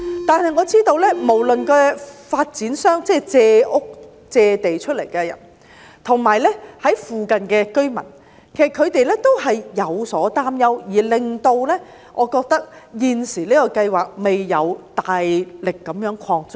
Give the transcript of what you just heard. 但是我知道，無論是發展商，即借屋、借出土地的人，或附近的居民，其實他們也有所擔憂，而導致現時的計劃未能大力擴張。